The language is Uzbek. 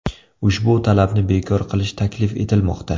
Ushbu talabni bekor qilish taklif etilmoqda.